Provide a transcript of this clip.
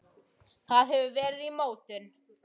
Það hefur verið í mótun.